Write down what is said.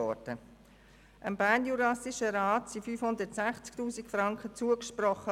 Dem Bernjurassischen Rat wurden 560 000 Franken zugesprochen.